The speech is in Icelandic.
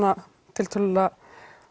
tiltölulega